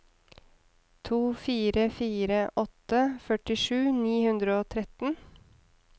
to fire fire åtte førtisju ni hundre og tretten